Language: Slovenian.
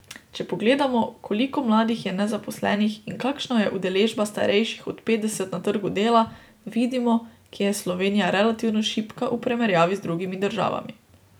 Če pogledamo, koliko mladih je nezaposlenih in kakšna je udeležba starejših od petdeset na trgu dela, vidimo, kje je Slovenija relativno šibka v primerjavi z drugimi državami.